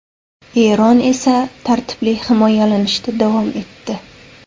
Eron esa tartibli himoyalanishda davom etdi.